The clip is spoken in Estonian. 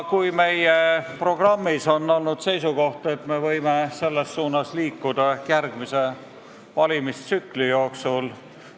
Meie programmis oli seisukoht, et me võime selles suunas liikuda ehk järgmise valimistsükli jooksul.